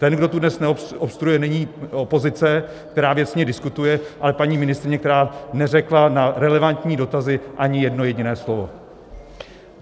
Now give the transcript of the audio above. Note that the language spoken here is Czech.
Ten, kdo tu dnes obstruuje, není opozice, která věcně diskutuje, ale paní ministryně, která neřekla na relevantní dotazy ani jedno jediné slovo.